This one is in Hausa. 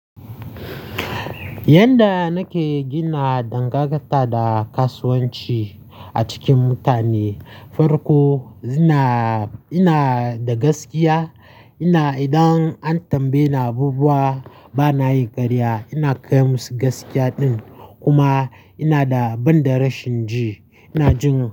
Yanda nake gina dangantaka da kasuwanci a cikin mutane, farko ina, ina da gaskiya. Ina idan an tambaye ni abubuwa bana yi karya, ina kai musu gaskiya din. Kuma ina da ban da rashin ji, ina jin.